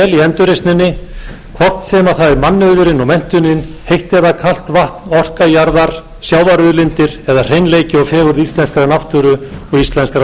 endurreisninni hvort sem það er mannauðurinn og menntunin heitt eða kalt vatn orka jarðar sjávarauðlindir eða hreinleiki og fegurð íslenskrar náttúru og íslenskrar